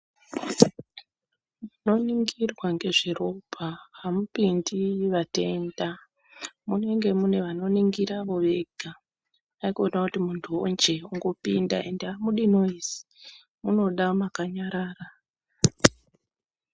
Munoningirwa ngezveropa hamupindi vatenda. Munenge mune vanoningira, ivo vega, haikona kungotiwo muntuwonje angopinda endi hamudi noizi, munoda makanyarara.